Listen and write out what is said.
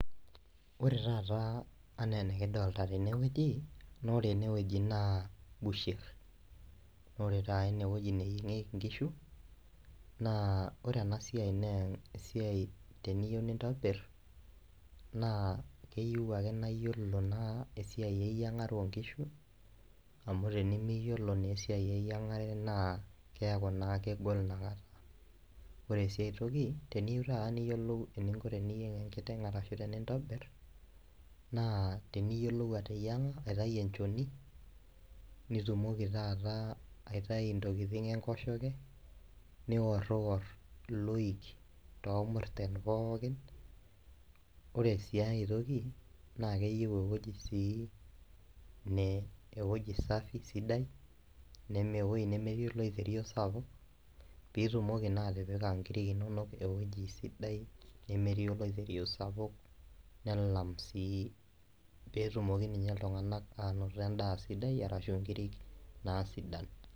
Ore taata enaa enikidolta tenewueji naa ore enewueji naa busherr nore taa enewueji neyieng'ieki inkishu naa ore ena siai naa esiai teniyieu nintobirr naa keyieu naa iyiolo naa esiai eyiang'are onkishu amu tenimiyiolo naa esiai eyiang'are naa keeku naa kegol inakata ore sii ae toki teniyieu taata niyiolou eninko teninyieng enkiteng arashu tenintobirr naa teniyiolou ateyiang'a aitau enchoni nitumoki taata aitai intokiting enkoshoke niorrior iloik tormurrten pookin ore sii ae toki naa keyieu ewueji sii ne ewoji safi sidai ewueji nemetii oloirerio sapuk pitumoki naa atipika inkiri inonok ewueji sidai nemetii oloiterio sapuk nelam sii petumoki minye iltung'anak anoto endaa sidai arashu inkirik naa sidan.